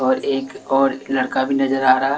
और एक और लड़का भी नजर आ रहा--